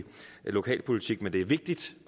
lokalpolitik men det er vigtigt